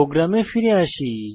প্রোগ্রামে ফিরে আসি